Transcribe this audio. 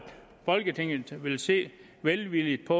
folketinget vil se velvilligt på